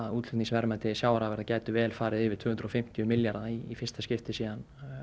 útflutningsverðmæti sjávarafurða gætu vel farið yfir tvö hundruð og fimmtíu milljarða í fyrsta skiptið síðan